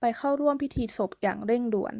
ไปเข้าร่วมพิธีศพอย่างเร่งด่วน